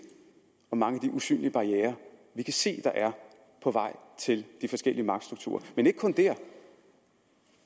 om hvor mange af de usynlige barrierer vi kan se der er på vej til de forskellige magtstrukturer men ikke kun dér